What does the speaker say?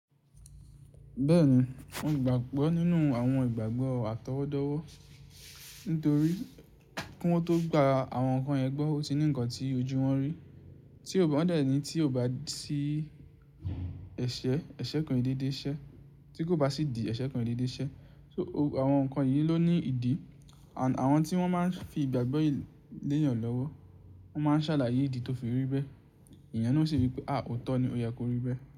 Bẹ́ẹ̀ ni, mo gbàgbọ́ nínú àwọn ìgbàgbọ́ àtọwọ́dọ́wọ́ nítorí kí wọ́n tó gba àwọn nǹkan yẹn gbọ́, ó ti ní nǹkan tí ojú wọn rí tí wọ́n dẹ̀ ní tí kò bá sí ẹ̀ṣẹ̀, ẹ̀ṣẹ̀ kan ki i dédé ṣẹ. Tí kò bá sí ìdí, ẹ̀ṣẹ̀ kan ki i dédé ṣẹ. So àwọn nǹkan yìí ló ní ìdí and àwọn tí wọ́n máa ń fi ìgbàgbọ́ lé eèyàn lọ́wọ́, wọ́n máa ń ṣàlàyé ìdí tó fi rí bẹ́ẹ̀. Èèyàn naa ó ṣe wí pé à ó tọ́ ni, ó yẹ kó rí bẹ́ẹ̀